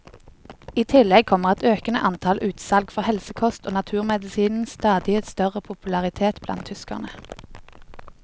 I tillegg kommer et økende antall utsalg for helsekost og naturmedisinens stadig større popularitet blant tyskerne.